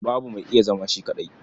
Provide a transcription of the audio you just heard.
Babu mai iya zama shi kaɗai.